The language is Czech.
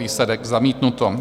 Výsledek: zamítnuto.